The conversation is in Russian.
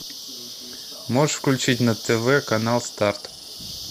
можешь включить на тв канал старт